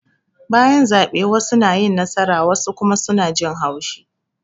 Bayan zabe wassu na yin nasara wassu kuma suna jin haushi